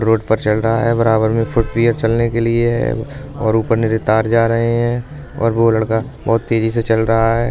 रोड़ पर चल रहा है। बराबर में फूट पियर चलने के लिए है और ऊपर नीचे तार जा रहे हैंं और वो लडका बोहोत तेजी से चल रहा है।